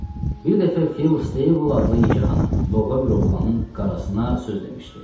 Bir dəfə Phil Stable adlı yekəxana, loğa bir oğlanın qarasına söz demişdi.